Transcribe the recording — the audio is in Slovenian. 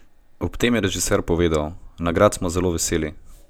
Ob tem je režiser povedal: "Nagrad smo zelo veseli.